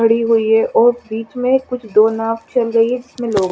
खड़ी हुई है और बिच में कुछ दो नाव चल रही है जिसमे लोग--